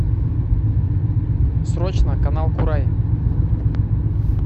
срочно канал курай